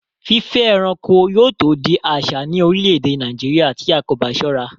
Fífẹ́ ẹranko yóò tó di àsà ní orílẹ̀-èdè Nàìjíríà tí a kò bá sọ́ra